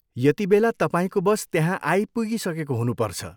यतिबेला तपाईँको बस त्यहाँ आइपुगिसकेको हुनुपर्छ।